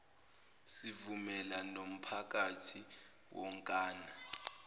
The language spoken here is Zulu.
sivumela nomphakathi wonkana